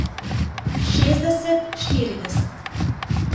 Šestdeset štirideset?